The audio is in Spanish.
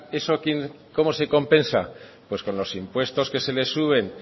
eso cómo se compensa pues con los impuestos que se les suben